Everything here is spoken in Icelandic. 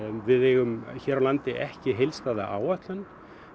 við eigum hér á landi ekki heildstæða áætlun